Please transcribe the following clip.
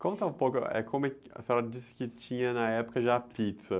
Conta um pouco, eh, como é que, a senhora disse que tinha na época já a pizza.